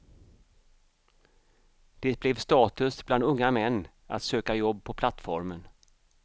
Det blev status bland unga män att söka jobb på plattformen.